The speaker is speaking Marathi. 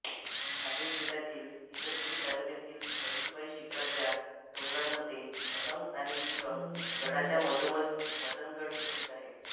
नाशिक जिल्ह्यातील इगतपुरी तालुक्यातील कळसूबाई शिखराच्या डोंगररांगांमध्ये अलंग आणि कुलंग गडांच्या मधोमध मदनगड स्थित आहे